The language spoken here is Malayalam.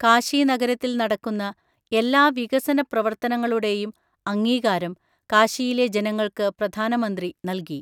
കാശി നഗരത്തിൽ നടക്കുന്ന എല്ലാ വികസന പ്രവർത്തനങ്ങളുടെയും അംഗീകാരം കാശിയിലെ ജനങ്ങൾക്ക് പ്രധാനമന്ത്രി നല്കി.